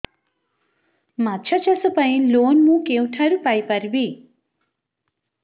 ମାଛ ଚାଷ ପାଇଁ ଲୋନ୍ ମୁଁ କେଉଁଠାରୁ ପାଇପାରିବି